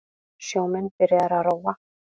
Sjómenn byrjaðir að róa